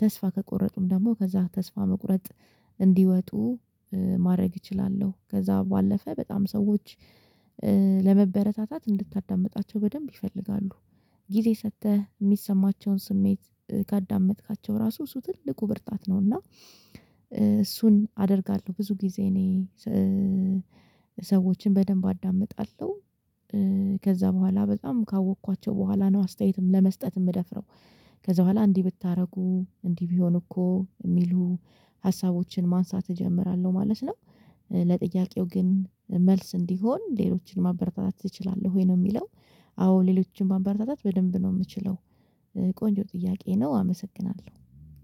ተስፋ ከቆረጡም ደግሞ ከዛ ተስፋ መቁረጥ እንዲወጡ ማድረግ እችላለሁ። ከዛ ባለፈ በጣም ሰዎች ለመበረታታት እንድታዳምጣቸው በደንብ ይፈልጋሉ፣ ጊዜ ሰጥተህ የሚሰማቸውን ስሜት ካዳመጥካቸው ራሱ እሱ ትልቁ ብርጣት ነው እና እሱን አደርጋለሁ። ብዙ ጊዜ እኔ ሰዎችን በደንብ አዳምጣለሁ። ከዛ በኋላ በጣም ካወቅኳቸው በኋላ ነው አስተያየትም ለመስጠት የምደፍረው ከዛ በኋላ እንዲህ ብታደርጉ እንዲህ ቢሆን እኮ የሚሉ ሀሳቦችን ማንሳት እጀምራለሁ ማለት ነው። ለጥያቄው ግን መልስ እንዲሆን ሌሎችን ማበረታታት እችላለሁ ወይ ነው የሚለው አዎ ሌሎችን ማበረታታት በደንብ ነው የምችለው ቆንጆ ጥያቄ ነው አመሰግናለሁ።